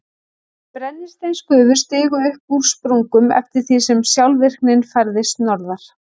Brennisteinsgufur stigu upp úr sprungum eftir því sem skjálftavirknin færðist norðar.